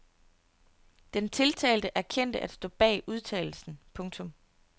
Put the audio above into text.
Den tiltalte erkendte at stå bag udtalelsen. punktum